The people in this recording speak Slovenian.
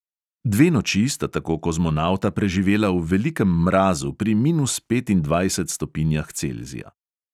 Dve noči sta tako kozmonavta preživela v velikem mrazu pri minus petindvajsetih stopinjah celzija.